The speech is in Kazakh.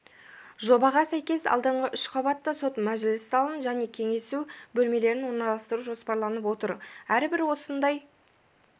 жобаға сәйкес алдыңғы үш қабатта сот мәжіліс залын және кеңесу бөлмелерін орналастыру жоспарланып отыр әрбір осындай